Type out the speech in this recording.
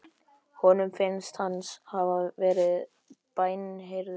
Honum finnst hann hafa verið bænheyrður.